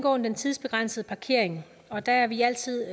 om den tidsbegrænsede parkering og der er vi altid